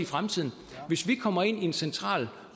fremtiden hvis vi kommer ind i en central